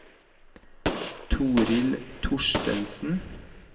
Toril Thorstensen